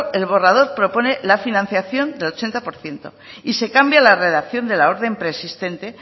el borrador propone la financiación del ochenta por ciento y se cambia la redacción de la orden preexistente